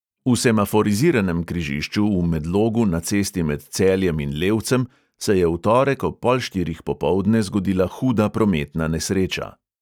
V semaforiziranem križišču v medlogu na cesti med celjem in levcem se je v torek ob pol štirih popoldne zgodila huda prometna nesreča.